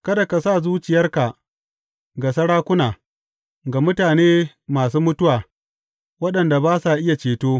Kada ka sa zuciyarka ga sarakuna, ga mutane masu mutuwa, waɗanda ba sa iya ceto.